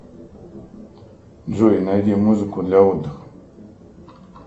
джой найди музыку для отдыха